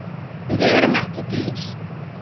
Við erum ekki dýr